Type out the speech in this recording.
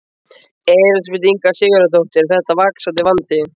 Elísabet Inga Sigurðardóttir: Er þetta vaxandi vandi?